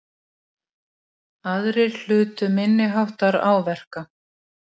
Hægari og úrkomulítið austantil á landinu